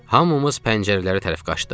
Hamımız pəncərələrə tərəf qaçdıq.